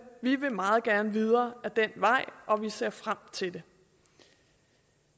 vi vil meget gerne videre ad den vej og ser frem til det